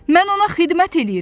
Mən ona xidmət eləyirəm.